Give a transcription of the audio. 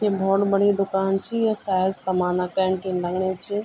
य भौत बड़ी दूकान ची य सायद समाना कैंटीन लगणीं च।